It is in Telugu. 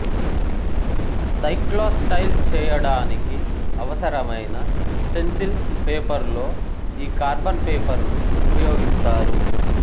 సైక్లోస్టైల్ చేయడానికి అవసరమైన స్టెన్సిల్ పేపరులో ఈ కార్బన్ పేపరును ఉపయెగిస్తారు